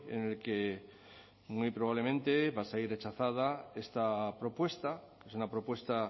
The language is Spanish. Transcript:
en el que muy probablemente va a salir rechazada esta propuesta es una propuesta